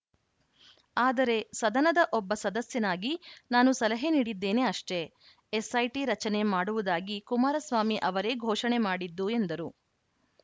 ಆದರೆ ಸದನದ ಒಬ್ಬ ಸದಸ್ಯನಾಗಿ ನಾನು ಸಲಹೆ ನೀಡಿದ್ದೇನೆ ಅಷ್ಟೇ ಎಸ್‌ಐಟಿ ರಚನೆ ಮಾಡುವುದಾಗಿ ಕುಮಾರಸ್ವಾಮಿ ಅವರೇ ಘೋಷಣೆ ಮಾಡಿದ್ದು ಎಂದರು